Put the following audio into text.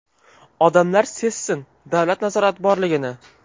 Odamlar sezsin davlat nazorati borligini.